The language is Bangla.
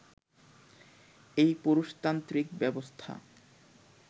এই পুরুষতান্ত্রিক ব্যবস্থা